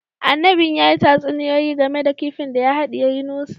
Annabin ya yi tatsuniyoyi game da kifin da ya hadiye Yunusa